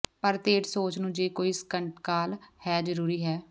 ਪਰ ਤੇਜ਼ ਸੋਚ ਨੂੰ ਜੇ ਕੋਈ ਸੰਕਟਕਾਲ ਹੈ ਜ਼ਰੂਰੀ ਹੈ